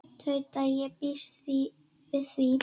Tauta: Ég býst við því.